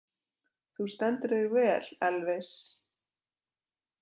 Þú stendur þig vel, Elvis!